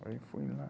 Aí eu fui lá.